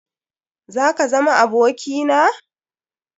Zaka zama aboki na?